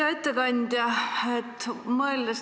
Hea ettekandja!